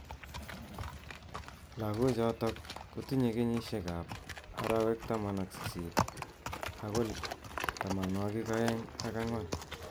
Lakok chotok kotinye kenyishek ab arawek taman ak sisit akoi tamanwakik aeng ak angwan.